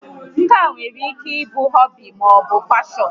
Nka nwere ike ịbụ họbị maọbụ prọfeshọn